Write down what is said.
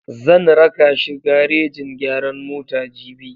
Zan raka shi garejin gyaran mota jibi.